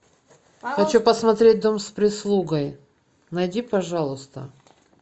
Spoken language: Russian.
хочу посмотреть дом с прислугой найди пожалуйста